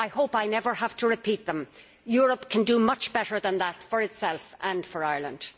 I hope I never have to repeat them. Europe can do much better than that for itself and for Ireland.